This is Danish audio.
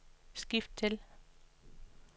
skift til